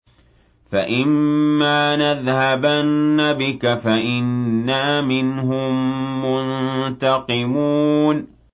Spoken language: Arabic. فَإِمَّا نَذْهَبَنَّ بِكَ فَإِنَّا مِنْهُم مُّنتَقِمُونَ